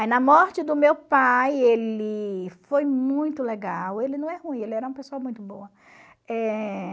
Aí na morte do meu pai, ele foi muito legal, ele não é ruim, ele era uma pessoa muito boa. Eh...